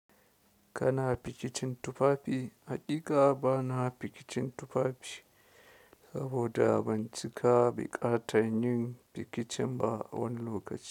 Kana fikicin tufafi? Hakika ba na fikicin tufafi saboda ban cika biƙatan yin fikicin ba wani lokaci.